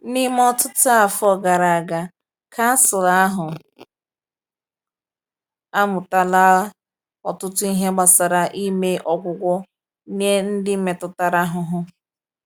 N’ime ọtụtụ afọ gara aga, kansụl ahụ amụtala ọtụtụ ihe gbasara ime ọgwụgwọ nye ndị metụtara ahụhụ.